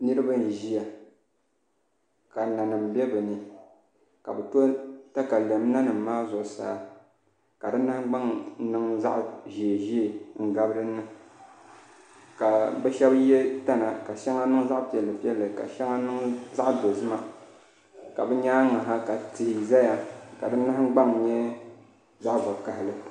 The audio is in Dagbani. Niraba n ʒiya ka nanim bɛ bi ni ka bi to katalɛm nanim maa zuɣusaa ka di nahangbaŋ niŋ zaɣ ʒiɛ ʒiɛ n gabi dinni ka bi shab yɛ tana ka shɛli niŋ zaɣ piɛlli piɛlli ka shɛŋa niŋ zaɣ dozima ka bi nyaangi ha ka tihi ʒɛya ka di nahangbaŋ nyɛ zaɣ vakaɣali